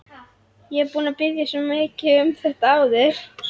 Ég er búinn að biðja svo marga um þetta áður.